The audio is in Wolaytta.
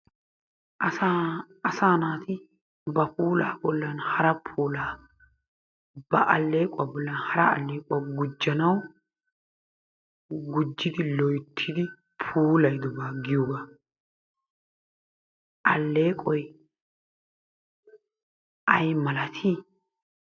Asa, asa naati ba puula bollan hara puulaa, ba alleequwa bollan hara allequwa gujjanaw, gujjidi loyttidi puulaydoba giyoogaa. Alleeqoy ay malati?